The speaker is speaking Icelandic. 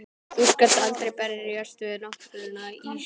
Þú skalt aldrei berjast við náttúruna Ísbjörg.